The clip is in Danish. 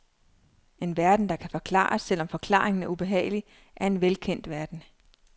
En verden, der kan forklares, selv om forklaringen er ubehagelig, er en velkendt verden.